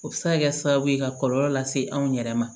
O bɛ se ka kɛ sababu ye ka kɔlɔlɔ lase anw yɛrɛ ma